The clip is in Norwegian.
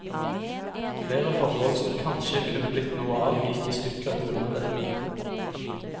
Flere forhold som kanskje kunne blitt noe av, gikk i stykker på grunn av dette.